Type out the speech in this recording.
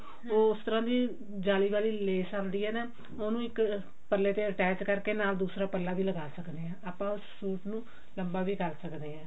ਉਸ ਤਰਾਂ ਦੀ ਜਾਲੀ ਵਾਲੀ ਲੈਸ ਆਉਂਦੀ ਹੈ ਨਾ ਉਹਨੂੰ ਇੱਕ ਪੱਲੇ ਤੇ attach ਕਰਕੇ ਨਾਲ ਦੂਸਰਾ ਪੱਲਾ ਵੀ ਲਗਾ ਸਕਦੇ ਹਾਂ ਆਪਾਂ ਉਸ ਸੂਟ ਨੂੰ ਲੰਬਾ ਵੀ ਕਰ ਸਕਦੇ ਹਾਂ